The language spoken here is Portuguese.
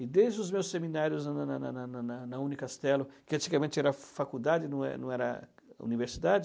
E desde os meus seminários na na na na na na na Unicastelo, que antigamente era faculdade, não é, não era universidade,